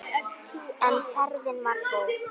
En ferðin var góð.